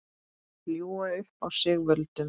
Ljúga upp á sig völdum?